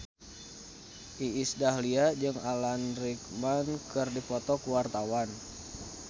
Iis Dahlia jeung Alan Rickman keur dipoto ku wartawan